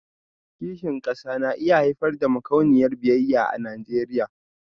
Kishin kasa na iya haifar da makauniyar biyayya a Najeriya